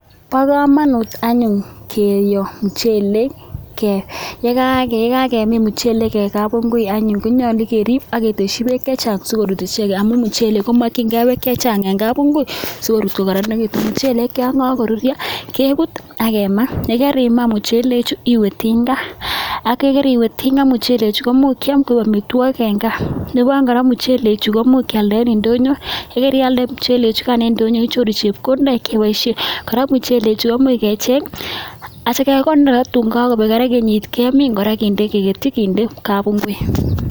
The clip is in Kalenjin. Bo kamanut anyun keyo muchelek, ye kakemin muchelek eng kapingui anyuun konyolu keriip aketeshi beek chechang sikoruut ichekei amun muchelek komakchinkei beek chechang eng kapuungui sikoruut kokararanitu, muchelek yon kakoruryo kepuut ak kemaa, ye karimaa muchechu iwe tingaa ak kariwe tinga, muchelechu komuch kiam ko amitwokik eng gaa. Nebo aeng kora, muchelechu komuch kialda eng indonyo, ye kerialde muchelechu kaan eng indonyo inyoru chepkondok chepoishe, kora muchelechu komuch kecheng atyo kekonor tuun kakobeek kora kenyit kemiin kora kende keketyi kinde kapunguit.